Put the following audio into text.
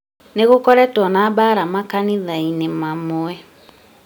nĩgũkoretwo na mbuaara makanithai-nĩmamwe